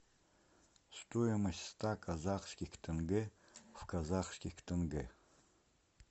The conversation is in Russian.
стоимость ста казахских тенге в казахских тенге